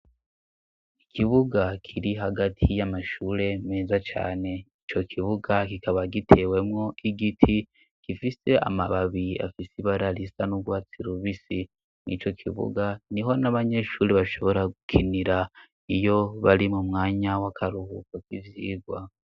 Ikibuga kiri hagati y'amashure meza cane ico kibuga kikaba gitewemwo igiti gifise amababiyi afise ibararisa n'urwatsi rubisi mw'ico kibuga ni ho n'abanyeshuri bashobora gukinira iyo bari mu mwanya w'akaruhuko kivyigwa.